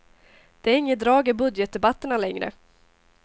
Det är inget drag i budgetdebatterna längre.